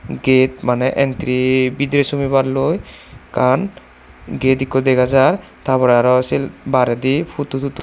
gate mane entry bidire somiballoi ekkan gate ikko dega jar tar pore aro sei baredi photo totu.